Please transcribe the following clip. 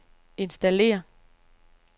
installér